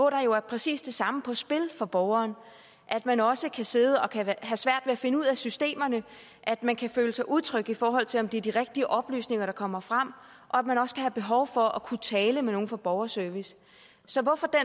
er jo præcis det samme på spil for borgeren at man også kan sidde og have svært ved at finde ud af systemerne at man kan føle sig utryg i forhold til om det er de rigtige oplysninger der kommer frem og at man også kan have behov for at kunne tale med nogle fra borgerservice så hvorfor er